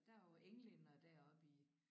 Der var jo englændere deroppe i